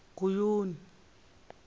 guyuni